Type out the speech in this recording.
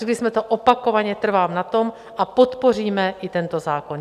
Řekli jsme to opakovaně, trvám na tom a podpoříme i tento zákon!